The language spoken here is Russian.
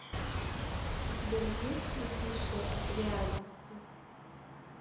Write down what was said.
у тебя есть бегущая от реальности